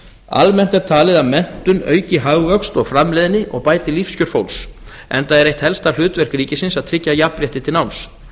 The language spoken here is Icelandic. almennt er talið að menntun auki hagvöxt og framleiðni og bæti lífskjör fólks enda er eitt helsta hlutverk ríkisins að tryggja jafnrétti til náms